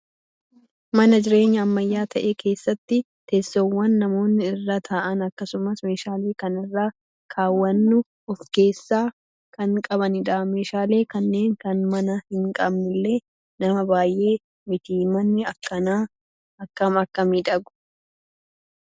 Mana jireenyaa ammayyaa ta'e keessatti teessoowwan namoonni irra taa'an akkasumas meeshaalee kan irra kaawwannu of keessaa kan qabanidha. Meeshaalee kanneen kan manaa hin qabnellee nama baay'ee mitii. Manni akkanaa akkam Akka miidhaguu